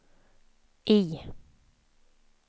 I